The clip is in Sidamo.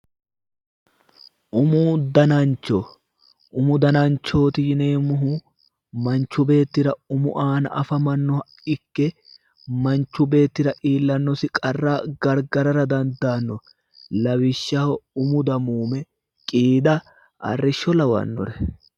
Umu danancho umu dananchooti yineemmohu manchi beettira umu aana afamannoha ikke manchu beettira iillanosi qarra gargarara dandaanno lawishshaho umu damuume qiida arrisho lawannore.